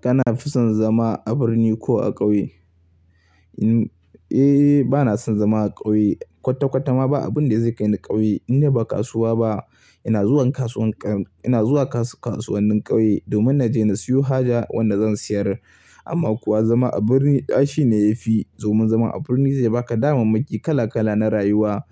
Kana fi son zama a birni ko a ƙauye? Eh, bana son zama a ƙauye. Kwata-kwata ma ba abun da zai kai ni ƙauye. Indai ba kasuwa ba. Ina zuwan kasuwannin ƙauye domin na je na siyo haja wanda zan siyar. Amma kuwa zama a birni ai shine ya fi. Domin zama a birni zai baka damammaki kala kala na rayuwa.